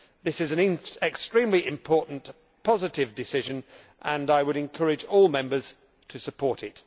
This is an extremely important, positive decision and I would encourage all Members to support it.